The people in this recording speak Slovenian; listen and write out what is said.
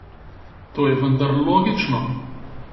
To je vendar logično!